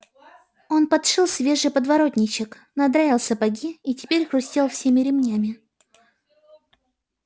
он подшил свежий подворотничок надраил сапоги и теперь хрустел всеми ремнями